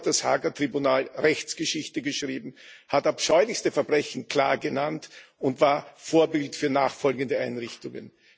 Dennoch hat das Haager Tribunal Rechtsgeschichte geschrieben, hat abscheulichste Verbrechen klar genannt und war Vorbild für nachfolgende Einrichtungen.